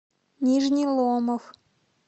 нижний ломов